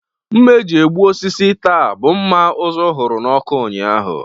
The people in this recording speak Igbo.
Mma eji egbu osisi taa, bụ mma ụzụ hụrụ n'ọkụ ụnyaahụ